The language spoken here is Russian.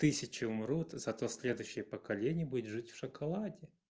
тысчу умрут зато следующее поколение будет жить в шоколаде